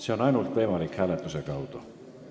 See on võimalik ainult hääletamise kaudu.